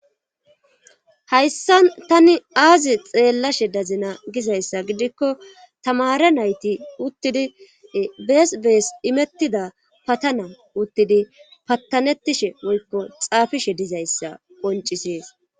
hayssa tani aazi xeellashe dazina gizayssa gidikko tamare nayti uttidi bees bees imettida patana uttidi pattanetishe woykko xaafishe dizayssa qoncisees